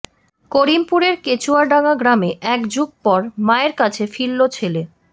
করিমপুরের কেচুয়াডাঙা গ্রামে এক যুগ পর মায়ের কাছে ফিরল ছেলে